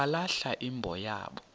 balahla imbo yabo